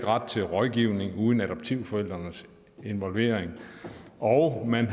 ret til rådgivning uden adoptivforældrenes involvering og at man